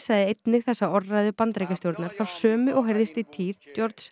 sagði einnig þessa orðræðu Bandaríkjastjórnar þá sömu og heyrðist í tíð